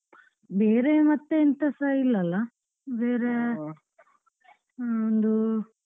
ಬೇರೆ ಮತ್ತೆ ಎಂಥಸ ಇಲ್ಲ ಅಲ್ಲ ಬೇರೆ ಒಂದು.